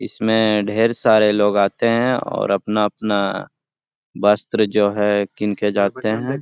इसमें ढ़ेर सारे लोग आते हैं और अपना-अपना वस्त्र जो है किन के जाते हैं।